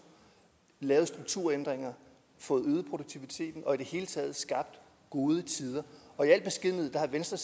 lavet strukturændringer og fået øget produktiviteten og i det hele taget skabt gode tider og i al beskedenhed har venstre